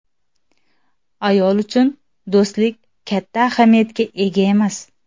Ayol uchun do‘stlik katta ahamiyatga ega emas.